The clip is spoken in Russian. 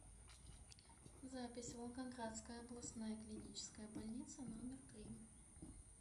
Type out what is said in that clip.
запись волгоградская областная клиническая больница номер три